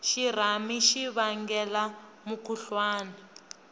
xirhami xi vangela mukhuhlwani